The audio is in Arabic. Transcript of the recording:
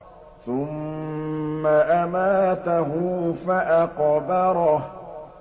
ثُمَّ أَمَاتَهُ فَأَقْبَرَهُ